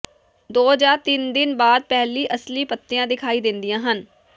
ਦੋ ਜਾਂ ਤਿੰਨ ਦਿਨ ਬਾਅਦ ਪਹਿਲੀ ਅਸਲੀ ਪੱਤੀਆਂ ਦਿਖਾਈ ਦਿੰਦੀਆਂ ਹਨ